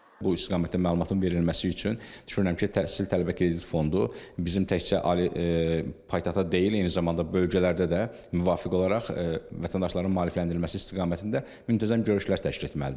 bu istiqamətdə məlumatın verilməsi üçün düşünürəm ki, təhsil tələbə krediti fondu bizim təkcə ali paytaxta deyil, eyni zamanda bölgələrdə də müvafiq olaraq vətəndaşların maarifləndirilməsi istiqamətində müntəzəm görüşlər təşkil etməlidir.